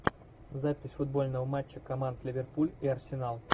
запись футбольного матча команд ливерпуль и арсенал